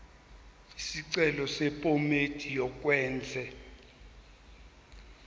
isicelo sephomedi yokwenze